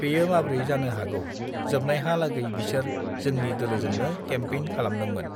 बेयो माब्रै जानो हागौ जोबनायहा लागै बिसोर जोंनि दोलोजोंनो केमपेइन खालामदोंमोन